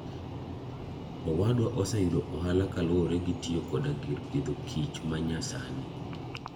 Owadwa oseyudo ohala kaluwore gi tiyo koda gir pidho kich manyasani.